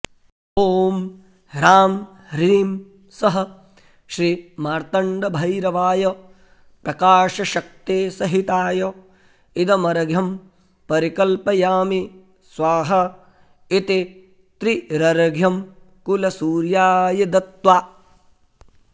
ॐ ह्रां ह्रीं सः श्रीमार्तण्डभैरवाय प्रकाशशक्तिसहिताय इदमर्घ्यं परिकल्पयामि स्वाहा इति त्रिरर्घ्यं कुलसूर्याय दत्त्वा